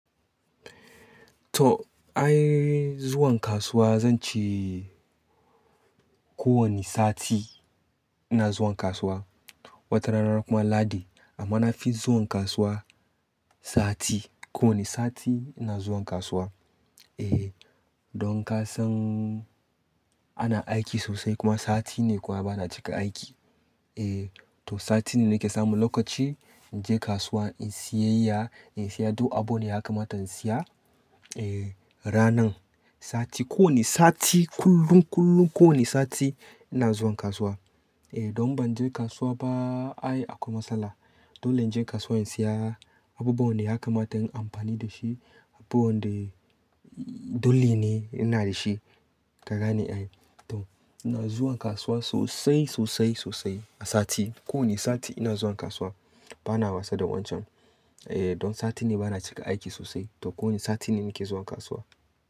To ai zuwan kasuwa zan ce ko wani sati ina zuwan kasuwa. Wata rana kuma Lahadi amma na fi zuwan kasuwa sati. Ko wani sati ina zuwan kasuwa. E, don ka san ana aiki sosai kuma sati ne kuwa bana cika aiki. E, to sati ne nake samun lokaci in je kasuwa inyi sayayya, in saya duk abunda ya kamata in saya. E, ranan sati, ko wani sati kullun kullun ko wani sati ina zuwan kasuwa. E, don ban je kasuwa ba ai akwai matsala. Dole in je kasuwa in saya abubuwan da ya kamata in amfani da shi, abubuwan da dole ne ina da shi. Ka gane ai. To ina zuwan kasuwa sosai, sosai, sosai a sati. Ko wani sati ina zuwan kasuwa bana wasa da wancan. E, don sati ne bana cika aiki sosai to ko wani sati ne nake zuwan kasuwa.